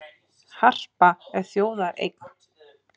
Harpa er þjóðareign